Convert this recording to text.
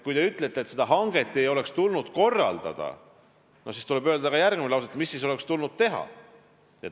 Kui te ütlete, et seda hanget ei oleks tulnud korraldada, siis tuleks öelda ka järgmine lause, et mida siis oleks tulnud teha.